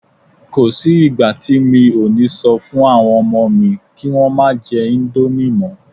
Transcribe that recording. Kò sí ìgbà tí mi ò ní sọ fún àwọn ọmọ mi kí Wọ́n má jẹ íńdómì mọ́.